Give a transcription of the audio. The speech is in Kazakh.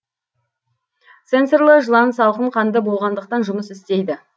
сенсорлар жылан салқын қанды болғандықтан жұмыс істейді